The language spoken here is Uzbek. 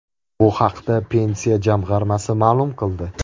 Bu haqda Pensiya jamg‘armasi ma’lum qildi .